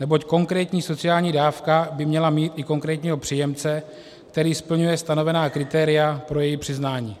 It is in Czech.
neboť konkrétní sociální dávka by měla mít i konkrétního příjemce, který splňuje stanovená kritéria pro její přiznání.